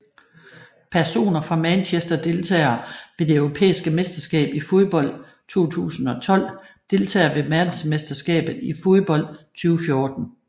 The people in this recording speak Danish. Personer fra Manchester Deltagere ved det europæiske mesterskab i fodbold 2012 Deltagere ved verdensmesterskabet i fodbold 2014